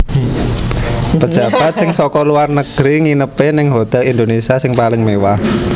Pejabat sing soko luar negeri nginepe ning Hotel Indonesia sing paling mewah